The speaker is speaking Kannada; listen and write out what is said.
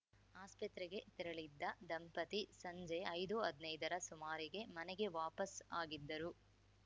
ಆಸ್ಪತ್ರೆಗೆ ತೆರಳಿದ್ದ ದಂಪತಿ ಸಂಜೆ ಐದುಹದ್ನೈದರ ಸುಮಾರಿಗೆ ಮನೆಗೆ ವಾಪಸ್‌ ಆಗಿದ್ದರು